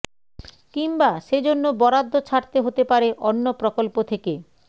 কিংবা সে জন্য বরাদ্দ ছাঁটতে হতে পারে অন্য প্রকল্প থেকে